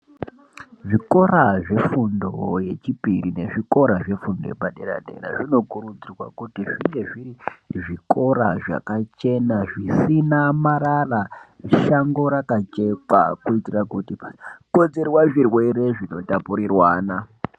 Zvikora zvefundo yechipiri nezvikora zvefundo yepadera dera zvinokurudzirwa kuti zvinge zviri zvikora zvakachena zvisina marara, shango rakachekwa kuitira kuti zvisakonzera zvirwere zvinotapurirwana.